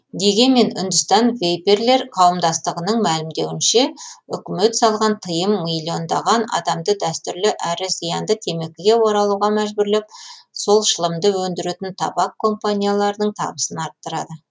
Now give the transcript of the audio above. дегенмен үндістан вейперлер қауымдастығының мәлімдеуінше үкімет салған тыйым миллиондаған адамды дәстүрлі әрі зиянды темекіге оралуға мәжбүрлеп сол шылымды өндіретін табак компанияларының табысын арттырады